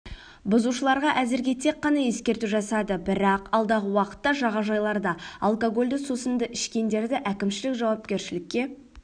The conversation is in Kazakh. бұзушыларға әзірге тек қана ескерту жасады бірақ алдағы уақытта жағажайларда алкогольді сусын ішкендерді әкімшілік жауапкершілікке